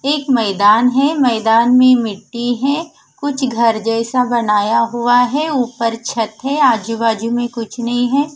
एक मैदान है मैदान में मिट्टी है कुछ घर जेसा बनाया हुआ है उपर छत है आजू बाजू में कुछ नही है।